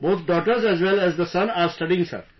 Both daughters as well as the son are studying Sir